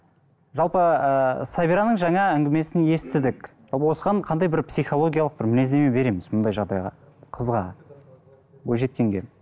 жалпы ыыы сабираның жаңа әңгімесін естідік осыған қандай бір психологиялық бір мінездеме береміз мұндай жағдайға қызға бойжеткенге